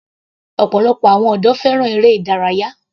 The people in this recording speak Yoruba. Ọ̀pọ̀lọpọ̀ àwọn ọ̀dọ́ fẹ́ràn eré ìdárayá.